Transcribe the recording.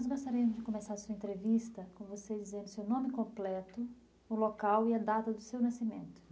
Nós gostaríamos de começar a sua entrevista com você dizendo seu nome completo, o local e a data do seu nascimento.